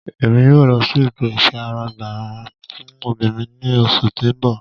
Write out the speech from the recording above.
Emi yóò lọ si ètò ifiagbara fún obìnrín ni oṣu ti n bọ